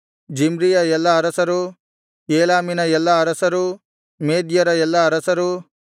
ಜಿಮ್ರಿಯ ಎಲ್ಲಾ ಅರಸರು ಏಲಾಮಿನ ಎಲ್ಲಾ ಅರಸರು ಮೇದ್ಯರ ಎಲ್ಲಾ ಅರಸರು